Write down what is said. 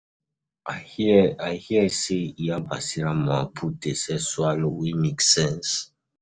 I hear, I hear sey Iya Basira mama put dey sell swallow wey make sense.